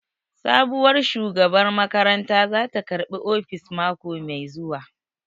Sabuwar shugabar makaranta zata karɓi ofis mako mai zuwa